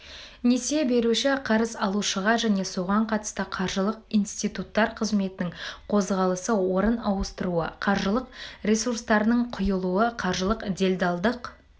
несие беруші қарыз алушыға және соған қатысты қаржылық институттар қызметінің қозғалысы орын ауыстыруы қаржылық ресурстардың құйылуы қаржылық делдалдық